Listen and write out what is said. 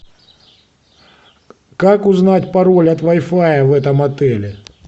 как узнать пароль от вай фая в этом отеле